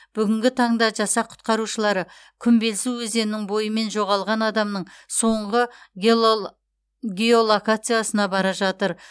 бүгінгі таңда жасақ құтқарушылары құмбелсу өзенінің бойымен жоғалған адамның соңғы геолокациясына бара жатыр